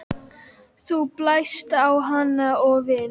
Þú blæst á hann og vin